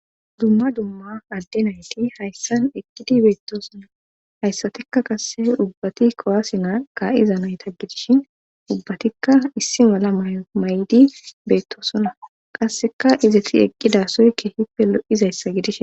Dumma dumma adde nayti hayssan eqqidi beettosona hayssatikka qasse ubbati kowaasi na ka'iza nayta gidishin ubbatikka issi mala mayo may'di beettosona qasseka izeti eqqidasoy kehippe lo'izayssa gidish.